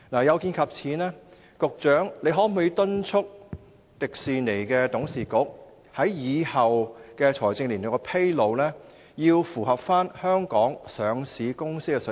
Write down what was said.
有見及此，局長可否敦促迪士尼董事局，日後在財政年度披露財務狀況時，必須追上香港上市公司的水平。